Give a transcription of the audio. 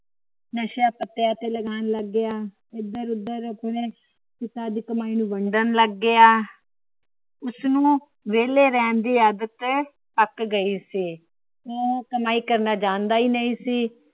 ਨਸ਼ਿਆਂ ਪੱਤਿਆਂ ਤੇ ਲੱਗਾਣ ਲੱਗ ਗਿਆ। ਏਧਰ ਉਧਰ ਆਪਣੇ ਪਿਤਾ ਦੀ ਕਮਾਈ ਨੂੰ ਵੰਡਣ ਲੱਗ ਗਿਆ ਉਸਨੂੰ ਵੇਲੇ ਰਹਿਣ ਦੀ ਆਦਤ ਅਕ ਗਯੀ ਸੀ ਉਹ ਕਮਾਈ ਕਰਨਾ ਜਾਨਦਾ ਹੀ ਨਹੀਂ ਸੀ